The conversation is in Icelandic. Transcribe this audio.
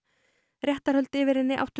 réttarhöld yfir henni áttu